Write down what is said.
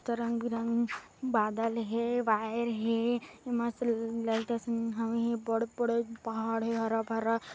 त रंग बिरंग बादल हे वायर हे मस्त ल लाइट असन हवे हे बड़े -बड़े पहाड़ हैं हरा भरा--